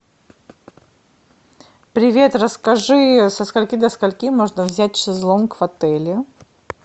привет расскажи со скольки до скольки можно взять шезлонг в отеле